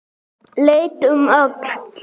Leit um öxl.